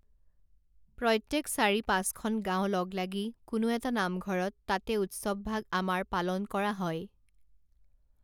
প্ৰত্যেক চাৰি পাঁচখন গাঁও লগ লাগি কোনো এটা নামঘৰত তাতে উৎসৱভাগ আমাৰ পালন কৰা হয়।